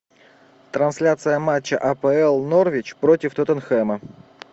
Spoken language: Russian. трансляция матча апл норвич против тоттенхэма